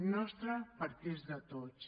nostra perquè és de tots